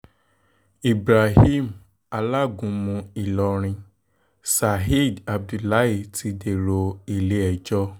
ibrahim alágúnmu ìlọrin saheed abdullahi ti dèrò ilé-ẹjọ́ o